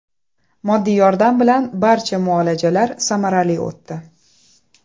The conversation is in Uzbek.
Moddiy yordam bilan barcha muolajalar samarali o‘tdi.